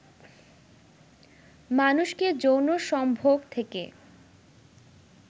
মানুষকে যৌন সম্ভোগ থেকে